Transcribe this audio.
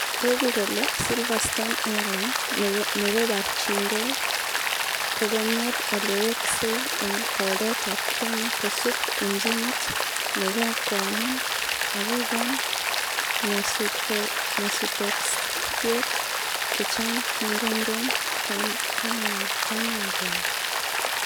Tooku kole Silverstone Airline negobarchingei, kokonyor oleweksei eng' poldet ap kenya kosuup injinit negokwaman akogon nyasutosyek chechang' kekong'em kaineng'wai.